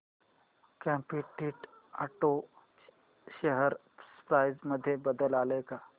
competent auto share price मध्ये बदल आलाय का